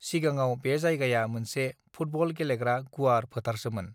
सिगाङाव बे जायगाया मोनसे फुटबल गेलेग्रा गुवार फोथारसोमोन